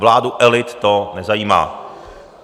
Vládu elit to nezajímá!